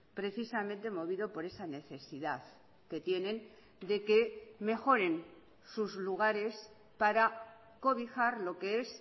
precisamente movido por esa necesidad que tienen de que mejoren sus lugares para cobijar lo que es